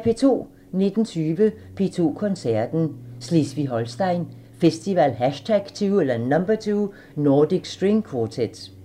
19:20: P2 Koncerten – Slesvig-Holsten Festival #2 – Nordic String Quartet